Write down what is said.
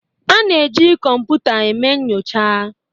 A na-eji kọmpụta eme nyocha